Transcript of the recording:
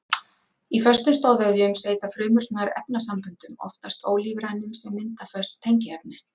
Í föstum stoðvefjum seyta frumurnar efnasamböndum, oftast ólífrænum, sem mynda föst tengiefni.